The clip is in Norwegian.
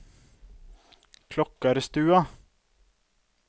Klokkarstua